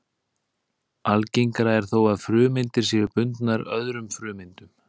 Algengara er þó að frumeindir séu bundnar öðrum frumeindum.